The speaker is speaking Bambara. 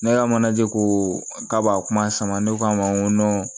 Ne ka manaje ko k'a b'a kuma sama ne k'a ma n ko